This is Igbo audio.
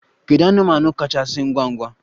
Kedu anụmanụ kachasị ngwa ngwa?